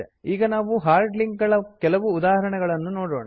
ಈಗ ನಾವು hard link ಗಳ ಕೆಲವು ಉದಾಹರಣೆಗಳನು ನೋಡೋಣ